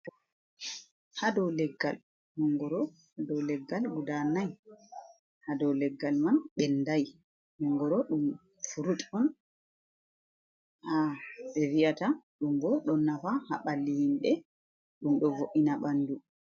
Ha do leggal mongoro, do leggal guda nai, ha do leggal man bendai, mongoro dum furut on, ha be vi'ata ɗum bo ɗo nafa ha balli himbe dum do vo’ina ɓandu.